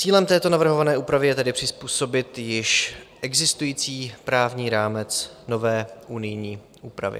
Cílem této navrhované úpravy je tedy přizpůsobit již existující právní rámec nové unijní úpravě.